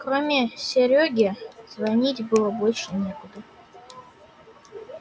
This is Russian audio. кроме серёги звонить было больше некуда